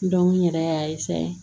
n yɛrɛ y'a